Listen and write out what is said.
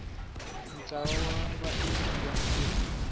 ntlawa wa vaendli va ntirho